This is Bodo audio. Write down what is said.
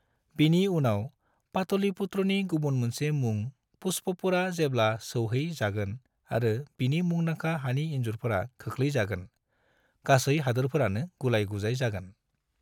बिनि उनाव, पाटलिपुत्रनि गुबुन मोनसे मुं पुष्पपुरा जेब्ला सौहै जागोन आरो बिनि मुंदांखा हानि इनजुरफोरा खोख्लै जागोन, गासै हादोरफोरानो गुलाय-गुजाय जागोन।